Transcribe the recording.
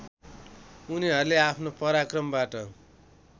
उनीहरूले आफ्नो पराक्रमबाट